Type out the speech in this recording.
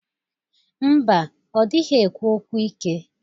Mba, ọ dịghi ekwu okwu ike.